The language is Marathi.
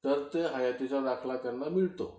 तर ते हयातीचा दाखला त्यांना मिळतो.